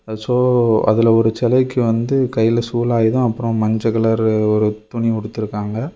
Show அதுல ஒரு செலைக்கு வந்து கைல சூலாயுதோ அப்ரோ மஞ்ச கலர் ஒரு துணி உடுத்திருக்காங்க.